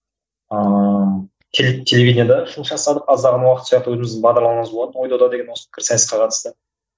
ааа телевиденияда жұмыс жасадық аздаған уақытша өзіміздің бағдарламамыз болатын осы ой дода деген осы пікірсайысқа қатысты